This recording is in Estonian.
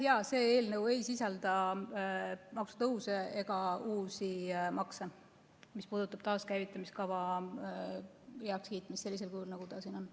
Jaa, see eelnõu ei sisalda maksutõuse ega uusi makse, mis puudutab taaskäivitamise kava heakskiitmist sellisel kujul, nagu ta siin on.